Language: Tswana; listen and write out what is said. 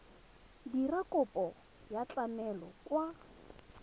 dira kopo ya tlamelo kwa